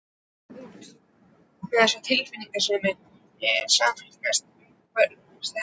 Út, út með þessa tilfinningasemi: sameinast, umvefjast, elska.